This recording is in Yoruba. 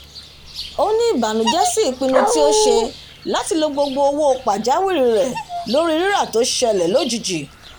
ó ní ìbànújẹ sí ipinnu tí ó ṣe láti lo gbogbo owó ìpamọ́ pajawìrí rẹ̀ lórí rírà tó ṣẹlẹ̀ lójijì